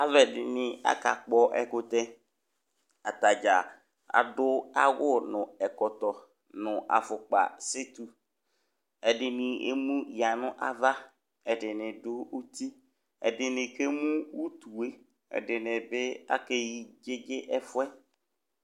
alʋɛɖini akakpɔ ɛkʋtɛ ataɖƶa aɖʋawʋ nʋ ɛkɔtɔ nʋ aƒʋkpa detʋ ɛɖɛni emʋya nʋ ava eɖinibi ɖʋ ʋtii ɛɖini akemʋ ʋtʋe ɛɖini ake NA ɛƒʋɛ